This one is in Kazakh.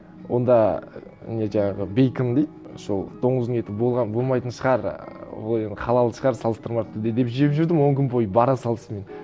онда не жаңағы бейкон дейді сол доңыздың еті болмайтын шығар ы ол енді халал шығар салыстырмалы түрде деп жеп жүрдім он күн бойы бара салсымен